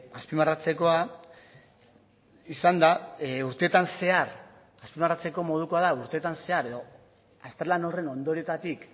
azpimarratzeko modukoa da urteetan zehar edo azterlan horren ondorioetatik